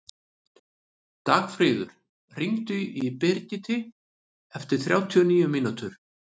Dagfríður, hringdu í Brigiti eftir þrjátíu og níu mínútur.